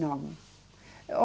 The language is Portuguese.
Não.